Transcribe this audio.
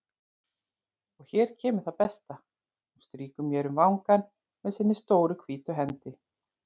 Og hér kemur það besta: Hún strýkur mér um vangann með sinni stóru hvítu hendi.